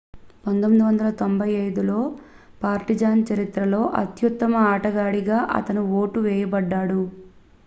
1995లో Partizan చరిత్రలో అత్యుత్తమ ఆటగాడిగా అతను ఓటు వేయబడ్డాడు